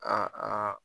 Aa